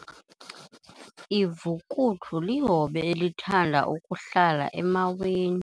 Ivukuthu lihobe elithanda ukuhlala emaweni.